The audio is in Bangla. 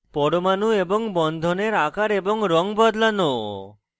পরমাণু এবং বন্ধনের আকার এবং রঙ বদলানো